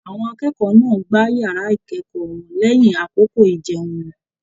Àwọn akẹ́kọ̀ọ́ náà gbá yàrá ikẹkọọ wọn lẹyìn àkókò ijẹun wọn.